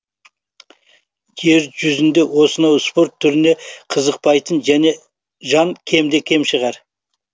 жер жүзінде осынау спорт түріне қызықпайтын жан кемде кем шығар